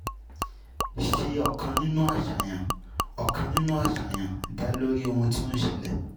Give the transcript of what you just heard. Ṣe ọkàn nínú àṣàyàn, ọkàn nínú àṣàyàn, dá lórí ohun tí ó ń ṣẹlẹ̀.